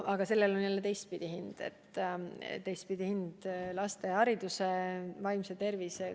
Aga sellel on jälle teistpidi hind: teistpidi hind laste hariduse ja vaimse tervise arvel.